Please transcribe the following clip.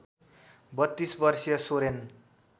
३२ वर्षीया सोरेन